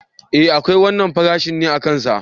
E akwai wannan farashi ne akan sa.